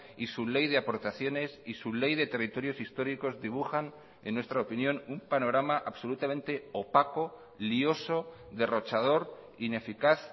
y su ley de aportaciones y su ley de territorios históricos dibujan en nuestra opinión un panorama absolutamente opaco lioso derrochador ineficaz